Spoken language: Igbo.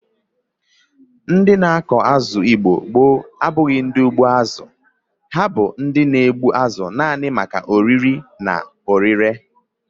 Ndi na-akụ azụ n'Igbo gboo abụghi ndi ugbo azu; ha bu ndi na egbu azu nani maka oriri na orire.